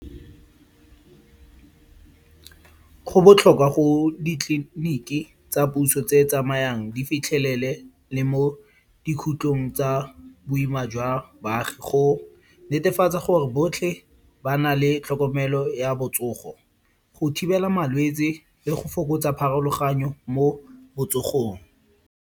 Go botlhokwa go ditleliniki tsa puso tse tsamayang di fitlhelele le mo dikhutlong tsa boima jwa baagi. Go netefatsa gore botlhe ba na le tlhokomelo ya botsogo, go thibela malwetsi le go fokotsa pharologanyo mo botsogong.